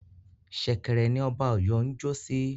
Ṣẹ̀kẹ̀rẹ̀ ni Ọba Ọ̀yọ́ ń jọ́ sí